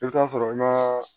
I bɛ taa sɔrɔ ŋa